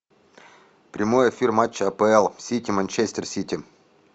прямой эфир матча апл сити манчестер сити